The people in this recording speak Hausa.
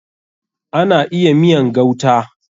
Ana iya miyan gauta.